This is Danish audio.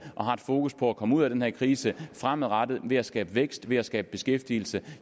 og har et fokus på at komme ud af den her krise fremadrettet ved at skabe vækst ved at skabe beskæftigelse